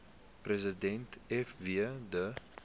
president fw de